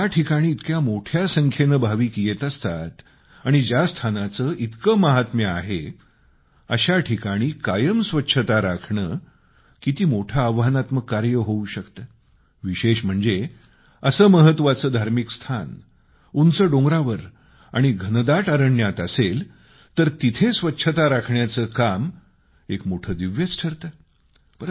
आता ज्याठिकाणी इतक्या मोठ्या संख्येने भाविक येत असतात आणि ज्या स्थानाचे इतके महात्म्य आहे अशा ठिकाणी कायम स्वच्छता राखणे किती मोठे आव्हानात्मक कार्य होऊ शकते विशेष म्हणजे असं महत्वाचं धार्मिक स्थान उंच डोंगरावर आणि घनदाट अरण्यात असेल तर तिथं स्वच्छता राखण्याचं काम एक मोठे दिव्यच ठरते